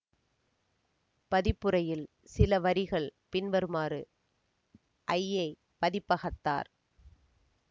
பதிப்புரையில் சில வரிகள் பின்வருமாறு ஐயை பதிப்பகத்தார்